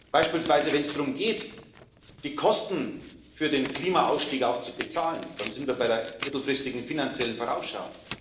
Beispielsweise wenn es darum geht, die Kosten für den Klimaausstieg auch zu bezahlen, dann sind wir bei der mittelfristigen finanziellen Vorausschau.